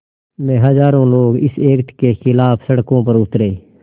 में हज़ारों लोग इस एक्ट के ख़िलाफ़ सड़कों पर उतरे